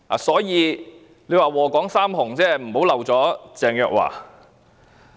所以，"禍港三紅"不要漏了鄭若驊。